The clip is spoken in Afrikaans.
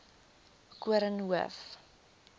koornhof